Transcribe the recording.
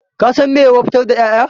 Ka san meye wofantar da ƴaƴa